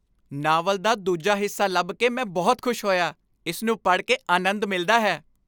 Novel ਦਾ ਦੂਜਾ ਹਿੱਸਾ ਲੱਭ ਕੇ ਮੈਂ ਬਹੁਤ ਖੁਸ਼ ਹੋਇਆ। ਇਸ ਨੂੰ ਪੜ੍ਹ ਕੇ ਅਨੰਦ ਮਿਲਦਾ ਹੈ।